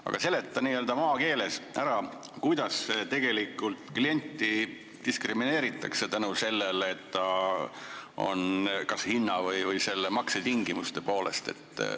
Aga seleta n-ö maakeeles ära, kuidas tegelikult klienti diskrimineeritakse kas hinna- või maksetingimuste poolest.